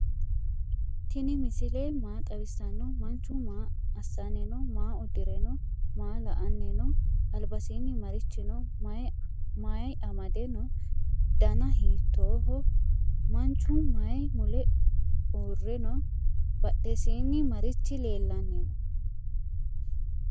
tini misile maa xawisano? manchu maa asani no?maa udire no?maa la"annino? albasini marichi no?mayi amade no?daana hitoho? manchu mayi mule hure no?badhesini marichi lelanni no?